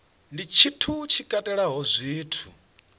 ndi tshithu tshi katelaho zwithu